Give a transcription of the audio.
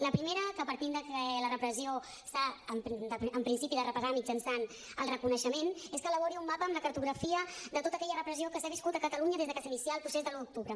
la primera que partint que la repressió s’ha en principi de reparar mitjançant el reconeixement és que elabori un mapa amb la cartografia de tota aquella repressió que s’ha viscut a catalunya des de que s’inicià el procés de l’un d’octubre